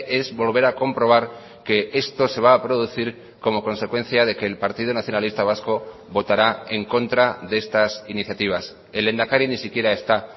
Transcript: es volver a comprobar que esto se va a producir como consecuencia de que el partido nacionalista vasco votará en contra de estas iniciativas el lehendakari ni siquiera está